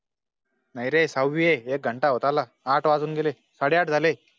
नाई रे सहवी ए. एक घंटा होत आला आठ वाजून गेले, साडे आठ झाले